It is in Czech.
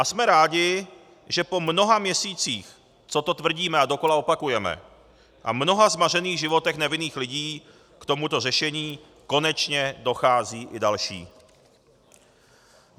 A jsme rádi, že po mnoha měsících, co to tvrdíme a dokola opakujeme, a mnoha zmařených životech nevinných lidí, k tomuto řešení konečně docházejí i další.